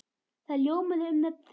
Það ljómaði um nöfn þeirra.